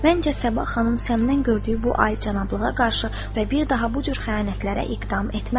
Məncə Səbah xanım səndən gördüyü bu alicənablığa qarşı və bir daha bu cür xəyanətlərə iqdam etməzdi.